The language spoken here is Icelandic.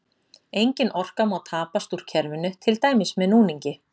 Engin orka má tapast úr kerfinu, til dæmis með núningi.